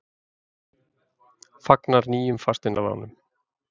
Fagnar nýjum fasteignalánum